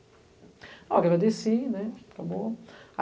Ó, agradeci, né, acabou.